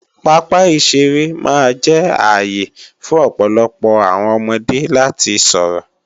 Pápá ìṣeré máa jẹ́ ààyè fún ọ̀pọ̀lọpọọ àwọn ọmọdé láti sọ̀rọ̀